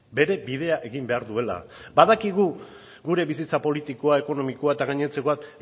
bere bidea egin behar duela badakigu gure bizitza politikoa ekonomikoa eta gainontzekoak